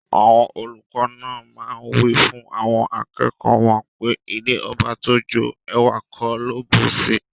Awon oluko naa maa wifun awon akeeki won pe ilẹ̀ ọbà tó jó, èwà kò ló bùṣí.